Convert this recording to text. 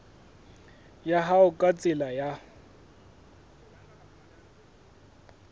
ya hao ka tsela ya